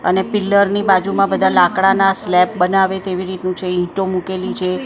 અને પીલ્લર ની બાજુમાં બધા લાકડાના સ્લેબ બનાવે તેવી રીતનું છે ઈંટો મૂકેલી છે.